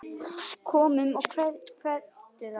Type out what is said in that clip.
Komdu og kveddu þá.